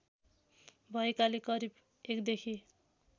भएकाले करिब १ देखि